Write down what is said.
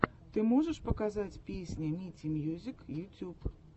ты можешь показать песня мити мьюзик ютьюб